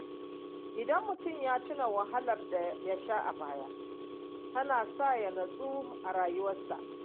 Idan mutum ya tuna wahalar da yasha a baya tana sa ya nutsu a rayuwarsa.